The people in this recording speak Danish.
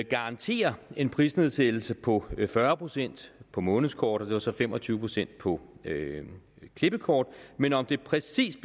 garantere en prisnedsættelse på fyrre procent på månedskort og så fem og tyve procent på klippekort men om det præcist